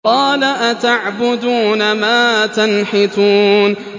قَالَ أَتَعْبُدُونَ مَا تَنْحِتُونَ